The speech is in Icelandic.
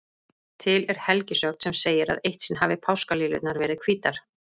Til er helgisögn sem segir að eitt sinn hafi páskaliljurnar verið hvítar.